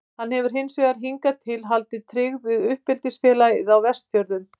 Hann hefur hins vegar hingað til haldið tryggð við uppeldisfélagið á Vestfjörðum.